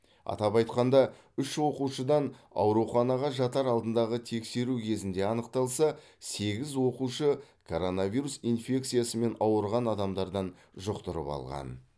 атап айтқанда үш оқушыдан ауруханаға жатар алдындағы тексеру кезінде анықталса сегіз оқушы коронавирус инфекциясымен ауырған адамдардан жұқтырып алған